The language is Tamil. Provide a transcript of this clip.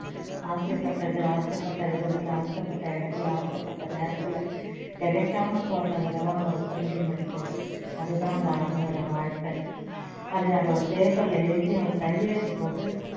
ஆடை பட்டது ஆசை பட்ட விதத்துல ஆசை பட்ட இடத்துல ஆசை பட்ட நேரத்துல கிடைக்காம போறதுல தான் ஒரு thrilling இருக்கு அது தான் அந்த army போட வாழ்க்கை அது அது ஒரு paper ல எழுதி அவர் கையெழுத்து போட்டு